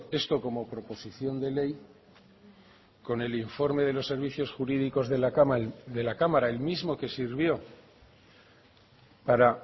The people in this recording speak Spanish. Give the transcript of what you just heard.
esto como proposición de ley con el informe de los servicios jurídicos de la cámara el mismo que sirvió para